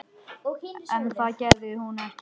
En það gerði hún ekki.